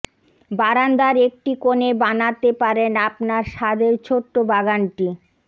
বারান্দার একটি কোণে বানাতে পারেন আপনার স্বাদের ছোট্ট বাগানটি